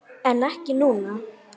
En ekki núna?